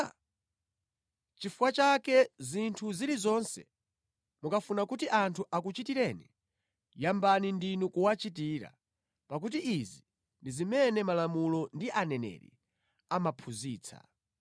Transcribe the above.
Nʼchifukwa chake zinthu zilizonse mukafuna kuti anthu akuchitireni, yambani ndinu kuwachitira, pakuti izi ndi zimene malamulo ndi aneneri amaphunzitsa.